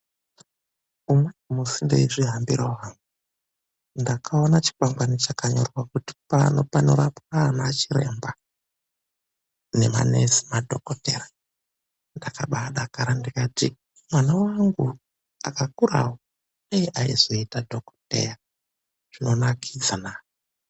Umweni musi ndeizvihambirawo hangu. Ndakaona chikwangwani chakanyorwa kuti pano panorapwa naana chiremba, nemanesi madhokodheya. Ndakabaadakara ndikati mwana wangu akakurawo dei aizoita dhokodheya. Zvinonakidzana.